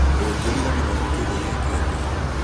Ũngĩriganĩrwo nĩ kĩndũ gĩkĩ atĩa